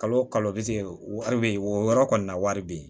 Kalo o kalo bi wari bɛ yen o yɔrɔ kɔni na wari bɛ yen